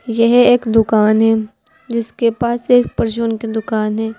यह एक दुकान है जिसके पास एक परचून की दुकान है।